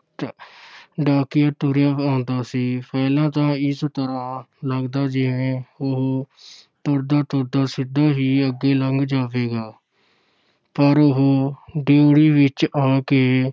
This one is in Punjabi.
ਡਾਕੀਆ ਤੁਰਿਆ ਆਉਂਦਾ ਸੀ, ਪਹਿਲਾਂ ਤਾਂ ਇਸ ਤਰ੍ਹਾਂ ਲੱਗਦਾ ਜਿਵੇਂ ਉਹ ਤੁਰਦਾ-ਤੁਰਦਾ ਸਿੱਧਾ ਹੀ ਅੱਗੇ ਲੰਘ ਜਾਵੇਗਾ ਪਰ ਉਹ ਡਿਉਢੀ ਵਿੱਚ ਆ ਕੇ